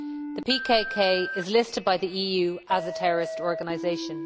The PKK is listed by the EU as a terrorist organisation.